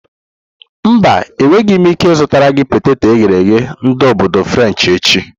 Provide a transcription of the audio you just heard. Mba, enweghị m ike ịzụtara gị peteto eghere eghe ndi obodo frenshi echi.